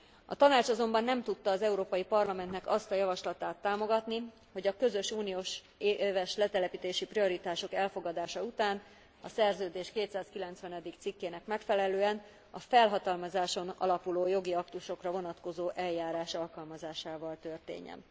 A Tanács azonban nem tudta az Európai Parlamentnek azt a javaslatát támogatni, hogy a közös uniós éves letelepítési prioritások elfogadása a Szerződés 290. cikkének megfelelően, a felhatalmazáson alapuló jogi aktusokra vonatkozó eljárás alkalmazásával történjen.